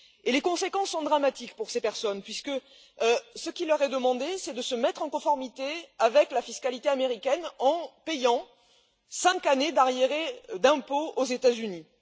Les conséquences sont dramatiques pour ces personnes puisque ce qui leur est demandé, c'est de se mettre en conformité avec la fiscalité américaine en payant cinq années d'arriérés d'impôts aux États Unis.